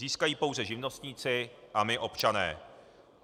Získají pouze živnostníci a my, občané.